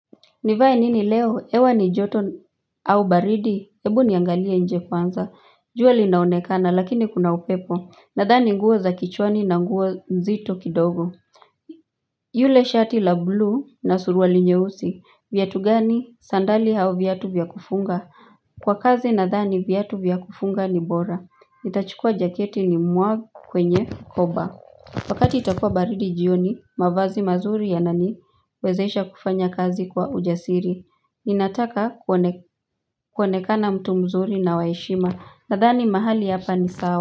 Nivae nini leo? Hewa ni joto au baridi? Ebu niangalie nje kwanza. Jua linaonekana lakini kuna upepo. Nadhani nguo za kichwani na nguo nzito kidogo. Yule shati la blue na suruwali nyeusi. Vyatu gani? Sandali au vyatu vya kufunga. Kwa kazi nadhani vyatu vya kufunga ni bora. Nitachukua jaketi ni mwa kwenye koba. Wakati itakua baridi jioni, mavazi mazuri yananiwezesha kufanya kazi kwa ujasiri. Inataka kuonekana mtu mzuri na wa heshima. Nadhani mahali hapa ni sawa.